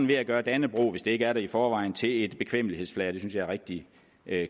ved at gøre dannebrog hvis ikke det er det i forvejen til et bekvemmelighedsflag og det synes jeg er rigtig